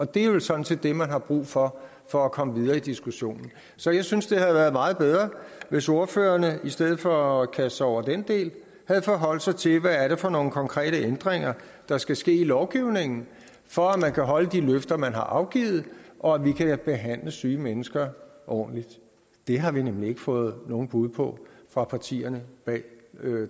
det er vel sådan set det man har brug for for at komme videre i diskussionen så jeg synes det havde været meget bedre hvis ordførererne i stedet for at kaste sig over den del havde forholdt sig til hvad det er for nogle konkrete ændringer der skal ske i lovgivningen for at man kan holde de løfter man har afgivet og at vi kan behandle syge mennesker ordentligt det har vi nemlig ikke fået nogen bud på fra partierne bag